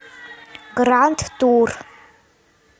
гранд тур